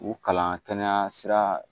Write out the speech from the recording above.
U kalan kɛnɛya sira